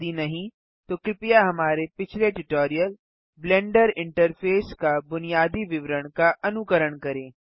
यदि नहीं तो कृपया हमारे पिछले ट्यूटोरियल ब्लेंडर इंटरफेस का बुनियादी विवरण का अनुकरण करें